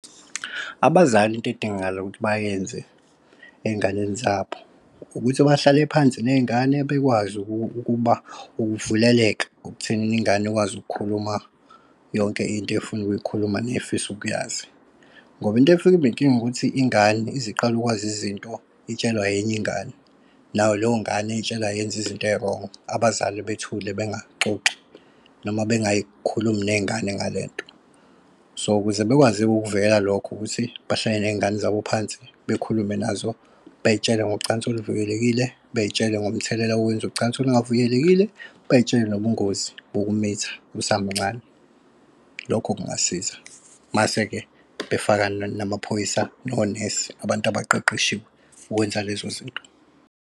Abazali into edingakala ukuthi bayenze ey'nganeni zabo ukuthi bahlale phansi ney'ngane, bakwazi ukuba ukuvuleleka ekuthenini ingane ikwazi ukukhuluma yonke into efuna ukuyikhuluma nefisa ukuyazi. Ngoba into efike ibe inkinga ukuthi ingane ize iqale ukwazi izinto, itshelwa enye ingane nayo leyo ngane eyitshelayo yenza izinto ezi-wrongo. Abazali bethule bengaxoxi noma bengayikhulumi ney'ngane ngalento so ukuze bekwazi-ke ukukuvikela lokho ukuthi bahlale nezingane zabo phansi bekhulume nazo, bey'tshele ngocansi oluvikelekile, bey'tshele ngomthelela wokwenza ucansi olungavikelekile. Bey'tshele nobubungozi bokumitha usamncane, lokho kungasiza mase-ke befaka namaphoyisa nonesi abantu abaqeqeshiwe ukwenza lezo zinto.